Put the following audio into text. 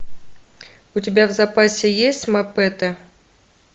у тебя в запасе есть мапете